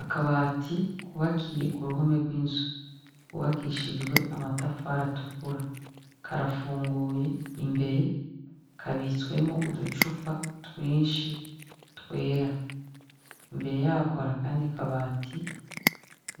Akabati kubakiye ku ruhome rw'inzu kubakishijwe amatafari atukura karafunguye imbere kabitswemwo uducupa twinshi twera imbere yako hari akandi kabati